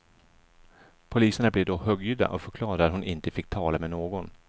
Poliserna blev då högljudda och förklarade att hon inte fick tala med någon.